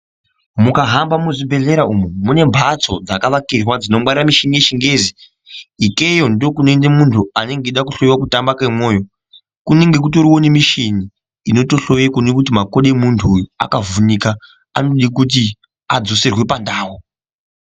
Mukahamba muzvibhedhera umu, mune mbatso dzakavakirwa dzinongwarira mishini yeChiNgezi. Ikeyo ndokunoende muntu anenge eida kuhloyiwa kutamba kemwoyo, Kunenge kutoriwo nemishini inotohloye kuone kuti kuti makodo emuntu uyu akavhunika. Anode kuti adzoserwe pandau